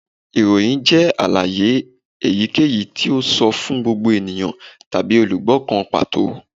Iroyin jẹ alaye eyikeyi ti o sọ fun gbogbo eniyan tabi olugbo kan pato